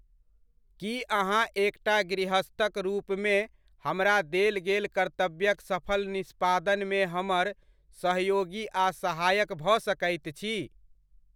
कि अहाँ एकटा गृहस्थक रूपमे हमरा देल गेल कर्तव्यक सफल निष्पादनमे हमर सहयोगी आ सहायक भऽ सकैत छी?